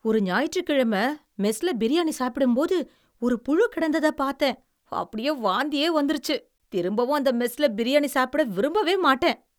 ஒரு ஞாயிற்றுக்கிழமை மெஸ்ல பிரியாணி சாப்பிடும்போது, ஒரு புழு கிடந்ததப் பாத்தேன். அப்படியே வாந்தியே வந்திருச்சு. திரும்பவும் அந்த மெஸ்ல பிரியாணி சாப்பிட விரும்பவே மாட்டேன்.